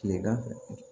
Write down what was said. Kilegan